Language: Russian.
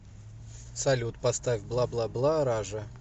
салют поставь бла бла бла ража